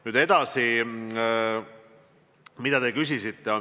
Nüüd edasi sellest, mida te küsisite.